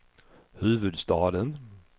huvudstaden